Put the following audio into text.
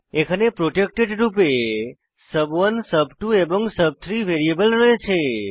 এখানে প্রটেক্টেড রূপে সুব1 সুব2 সুব3 ভ্যারিয়েবল রয়েছে